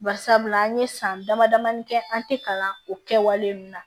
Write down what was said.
Bari sabula an ye san damadamanin kɛ an tɛ kalan o kɛ wale ninnu na